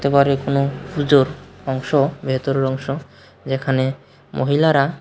ঘরের কোন পূজোর অংশ ভেতরের অংশ যেখানে মহিলারা--